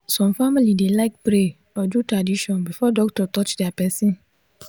some family dey like pray or do tradition before doctor touch their person.